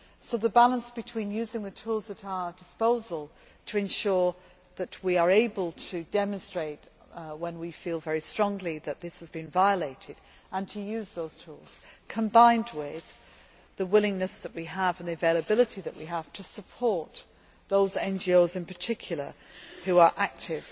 Therefore, we strike a balance between using the tools at our disposal to ensure that we are able to demonstrate when we feel very strongly that this has been violated, and using those tools combined with the willingness that we have and the availability that we have to support those NGOs, in particular, those that are active